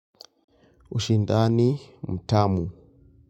Ushindani mtamu.